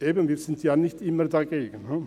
– Eben: Wir sind ja nicht immer dagegen.